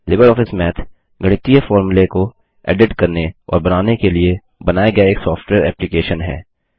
Libre office math गणितीय फोर्मुले को एडिट करने और बनाने के लिए बनाया गया एक सॉफ्टवेयर एप्लिकेशन है